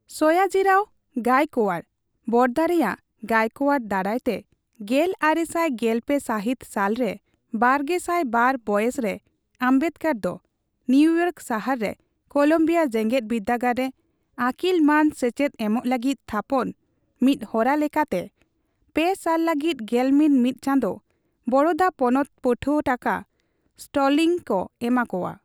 ᱥᱚᱭᱟᱡᱤᱨᱟᱣ ᱜᱟᱭᱠᱣᱟᱲ ᱾᱾᱾ (ᱵᱚᱲᱚᱫᱟ ᱨᱮᱭᱟᱜ ᱜᱟᱭᱚᱠᱣᱟᱲ) ᱫᱟᱨᱟᱭ ᱛᱮ ᱜᱮᱞᱟᱨᱮᱥᱟᱭ ᱜᱮᱞᱯᱮ ᱥᱟᱦᱤᱛ ᱥᱟᱞ ᱨᱮ ᱵᱟᱨᱜᱮᱥᱟᱭ ᱵᱟᱨ ᱵᱚᱭᱮᱥ ᱨᱮ ᱚᱵᱢᱮᱰᱠᱟᱨ ᱫᱚ ᱱᱩᱭᱩᱭᱟᱨᱠ ᱥᱟᱦᱟᱨ ᱨᱮ ᱠᱚᱞᱚᱢᱵᱤᱭᱟ ᱡᱮᱜᱮᱫᱵᱤᱨᱫᱟᱹᱜᱟᱲ ᱨᱮ ᱟᱠᱤᱞ ᱢᱟᱹᱱ ᱥᱮᱪᱮᱫ ᱮᱢᱚᱜ ᱞᱟᱹᱜᱤᱫ ᱛᱷᱟᱯᱚᱱ ᱢᱤᱫ ᱦᱚᱨᱟ ᱞᱮᱠᱟᱛᱮ ᱯᱮ ᱥᱟᱞ ᱞᱟᱹᱜᱤᱫ ᱜᱮᱞᱢᱤᱛ ᱢᱤᱫ ᱪᱟᱸᱫᱚ᱾ ᱵᱳᱲᱳᱫᱟ ᱯᱚᱱᱚᱛ ᱯᱟᱹᱴᱷᱣᱟᱹ ᱴᱟᱠᱟ (ᱥᱴᱞᱤᱝᱜ) ᱠᱚ ᱮᱢᱟ ᱠᱚᱣᱟ᱾